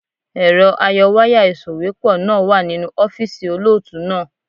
Èrọ ayọwáyà ìsòwépọ̀ náà wà nínú ọ́fíìsì olóòtú náà.